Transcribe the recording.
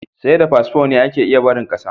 Sai da fasfo ne ake iya barin ƙasa.